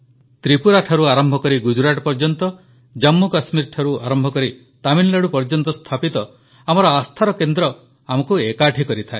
ତ୍ରିପୁରାଠାରୁ ଆରମ୍ଭ କରି ଗୁଜରାଟ ଯାଏ ଜମ୍ମୁକଶ୍ମୀରଠୁ ତାମିଲନାଡୁ ପର୍ଯ୍ୟନ୍ତ ସ୍ଥାପିତ ଆମର ଆସ୍ଥାର କେନ୍ଦ୍ର ଆମକୁ ଏକାଠି କରିଥାଏ